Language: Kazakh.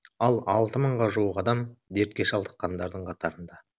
ал алты мыңға жуық адам дертке шалдыққандардың қатарында